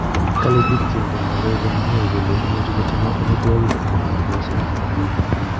Kale bik cheingen kalek komye kole imuchi kochenge amitwokiki anan chepyoset